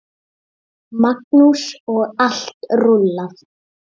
Magnús: Og allt rúllað?